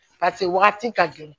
Paseke wagati ka gɛlɛn